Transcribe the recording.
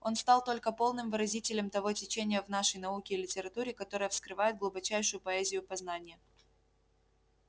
он стал только полным выразителем того течения в нашей науке и литературе которое вскрывает глубочайшую поэзию познания